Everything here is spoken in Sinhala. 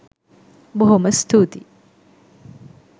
බොහොම ස්තුතියි